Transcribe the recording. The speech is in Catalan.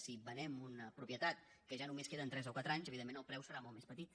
si venem una propie tat que ja només queden tres o quatre anys evidentment el preu serà molt més petit